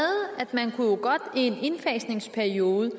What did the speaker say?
man i en indfasningsperiode